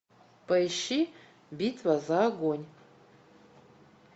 поищи битва за огонь